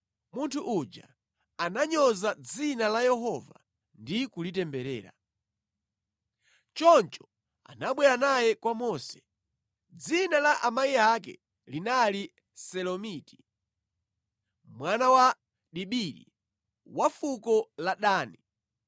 Munthu uja ananyoza dzina la Yehova ndi kulitemberera. Choncho anabwera naye kwa Mose. Dzina la amayi ake linali Selomiti, mwana wa Dibiri, wa fuko la Dani.